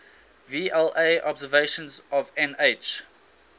vla observations of nh